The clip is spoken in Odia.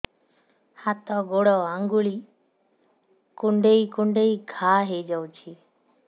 ହାତ ଗୋଡ଼ ଆଂଗୁଳି କୁଂଡେଇ କୁଂଡେଇ ଘାଆ ହୋଇଯାଉଛି